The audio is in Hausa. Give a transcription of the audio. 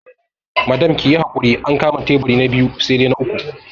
Madam kiyi hakuri an kama taiburi na biyu sai dai na uku